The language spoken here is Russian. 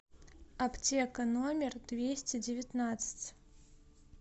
аптека номер двести девятнадцать